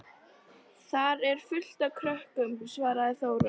Þar er fullt af krökkum, svaraði Þóra.